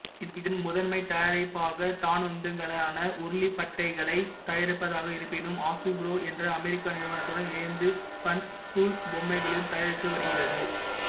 இதன் முதன்மை தயாரிப்பாக தானுந்துகளுக்கான உருளிப்பட்டைகளைத் தயாரிப்பதாக இருப்பினும் ஆசுபுரோ என்றஅமெரிக்க நிறுவனத்துடன் இணைந்து ஃபன்ஸ்கூல் பொம்மைகளையும் தயாரித்து வருகிறது